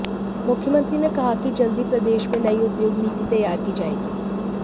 मुख्यमंत्री ने कहा कि जल्द ही प्रदेश में नई उद्योग नीति तैयार की जाएगी